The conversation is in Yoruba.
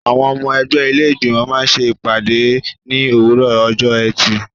Àwọn ọmọ ẹgbẹ́ ilé Ìgbìmọ̀ máa ṣe ìpàdé ní òwúrọ̀ ọjọ́ ẹtì.